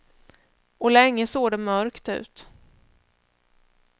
Och länge såg det mörkt ut.